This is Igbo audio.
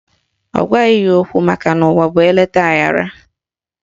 Ọ gwaghị ya okwu makana ụwa bụ eleta aghara